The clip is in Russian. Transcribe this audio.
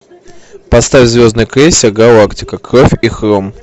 поставь звездный крейсер галактика кровь и хром